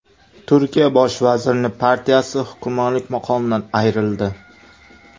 Turkiya bosh vazirining partiyasi hukmronlik maqomidan ayrildi.